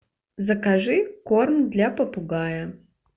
закажи корм для попугая